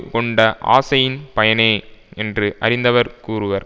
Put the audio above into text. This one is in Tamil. கொண்ட ஆசையின் பயனே என்று அறிந்தவர் கூறுவர்